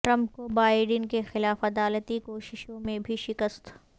Trump کو Biden کیخلاف عدالتی کوششوں میں بھی شکست